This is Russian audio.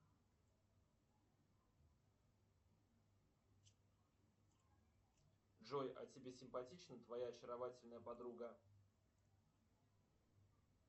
джой а тебе симпатична твоя очаровательная подруга